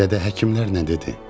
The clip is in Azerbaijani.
Dədə, həkimlər nə dedi?